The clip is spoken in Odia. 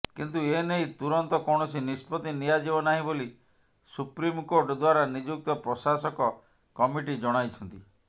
କିନ୍ତୁ ଏନେଇ ତୁରନ୍ତ କୌଣସି ନିଷ୍ପତ୍ତି ନିଆଯିବ ନାହିଁ ବୋଲି ସୁପ୍ରିମକୋର୍ଟ ଦ୍ୱାରା ନିଯୁକ୍ତ ପ୍ରଶାସକ କମିଟି ଜଣାଇଛନ୍ତି